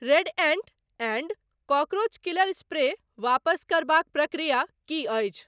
Red ant and cockroach killer spray वापस करबाक प्रक्रिया की अछि ?